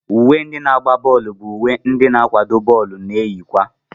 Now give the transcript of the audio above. Uwe ndị na-agba bọọlu bụ uwe ndị n'akwado bọọlụ na-eyi kwa.